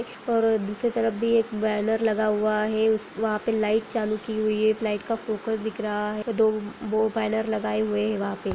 और दूसरी तरफ भी एक बैनर लगा हुआ है उस वहाँ पे लाइट चालू की हुई है एक लाइट का फोकस दिख रहा है दो-- वो बैनर लगाए हुये है वहाँ पे।